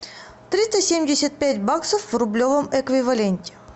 триста семьдесят пять баксов в рублевом эквиваленте